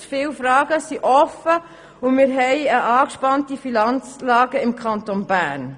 Zu viele Fragen sind offen und wir haben eine angespannte Finanzlage im Kanton Bern.